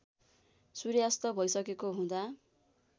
सूर्यास्त भइसकेको हुँदा